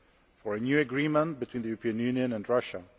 for a new agreement between the European Union and Russia.